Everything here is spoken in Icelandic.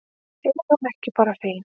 Er hún ekki bara fín?